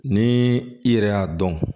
Ni i yɛrɛ y'a dɔn